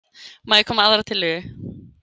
Má ég koma með aðra tillögu?